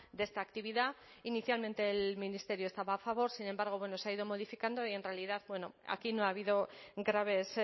de esta actividad inicialmente el ministerio estaba a favor sin embargo bueno se ha ido modificando y en realidad aquí no ha habido graves